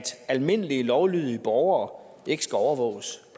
almindelige lovlydige borgere ikke skal overvåges